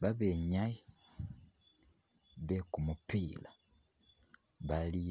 Babenyayi bekumupila bali